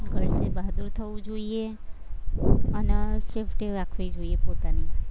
girls ને બહાદુર થવું જોઈએ અને safety રાખવી જોઈએ પોતાની